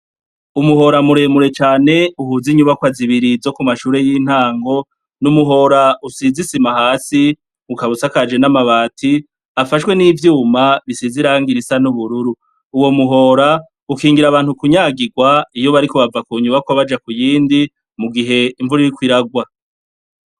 Umuhora muremure cane uhuza inyubakwa zibiri zo ku mashure y'intango, ni umuhora usize isima hasi, ukaba usakajwe n'amabati, afashwe n'ivyuma, bisize irangi risa n'ubururu. Uwo muhora, ukingira abantu kunyagirwa, iyo bariko bava ku nyubakwa baja kuyindi, mu gihe imvura iriko iragwa.